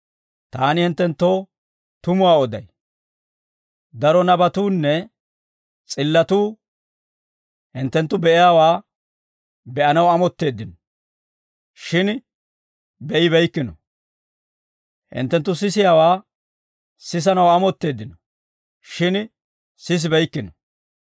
Taani hinttenttoo tumuwaa oday; daro nabatuunne s'illatuu hinttenttu be'iyaawaa be'anaw amotteeddino; shin be'ibeykkino. Hinttenttu sisiyaawaa sisanaw amotteeddino; shin sisibeykkino.